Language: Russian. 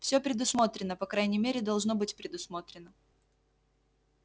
все предусмотрено по крайней мере должно быть предусмотрено